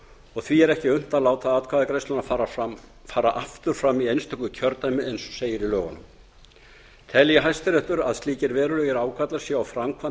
og því er ekki unnt að láta atkvæðagreiðsluna fara aftur fram í einstöku kjördæmi eins og segir í lögunum telji hæstiréttur að slíkir verulegir ágallar séu á framkvæmd